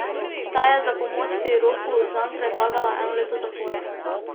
Ta je za pomoč pri ropu zanj predlagala eno leto zapora.